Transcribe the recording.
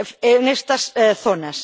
en estas zonas.